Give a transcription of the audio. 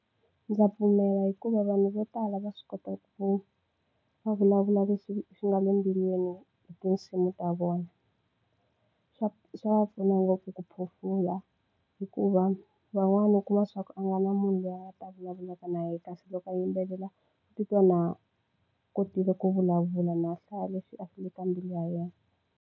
Ndza pfumela hikuva vanhu vo tala va swi kota ku va vulavula leswi swi nga le embilwini hi tinsimu ta vona swa swa va pfuna ngopfu ku phofula hikuva van'wani u kuma swa ku a nga na munhu loyi a ta vulavulaka na yena kasi loko a yimbelela u titwa na kotile ku vulavula na hlaya leswi a swi le ka mbilu ya yena.